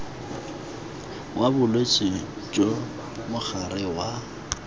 wa bolwetse jo mogare wa